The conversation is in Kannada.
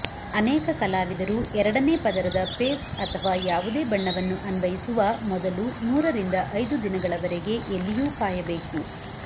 ಅನೇಕ ಕಲಾವಿದರು ಎರಡನೇ ಪದರದ ಪೇಸ್ಟ್ ಅಥವಾ ಯಾವುದೇ ಬಣ್ಣವನ್ನು ಅನ್ವಯಿಸುವ ಮೊದಲು ಮೂರರಿಂದ ಐದು ದಿನಗಳವರೆಗೆ ಎಲ್ಲಿಯೂ ಕಾಯಬೇಕು